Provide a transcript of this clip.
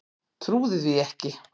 Trúði því ekki.